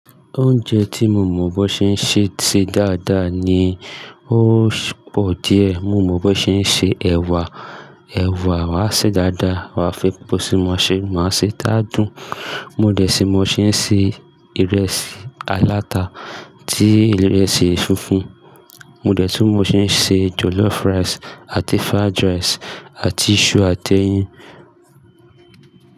Oúnjẹ tí mo mọ̀ bó ṣe ń ṣe ṣe dáadáa ni ó pọ̀ díẹ̀. Mo mọ̀ bó ṣe ń se ẹ̀wà, ẹ̀wà wa ṣe dáadáa, wa fi pòṣí má ṣe, má ṣe tá dùn. Mo dẹ̀ sí mo ṣe ń ṣe ìrẹsì aláta ti ìrẹsì funfun. Mo dẹ̀ tú mi ṣe ń ṣe jollof rice àti fried rice àti iṣu àti ẹyin.